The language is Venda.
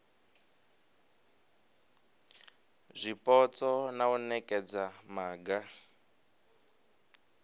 zwipotso na u nekedza maga